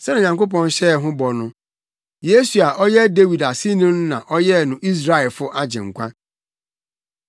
“Sɛnea Onyankopɔn hyɛɛ ho bɔ no, Yesu a ɔyɛ Dawid aseni no na ɔyɛɛ no Israelfo Agyenkwa.